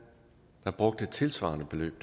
der brugte et tilsvarende beløb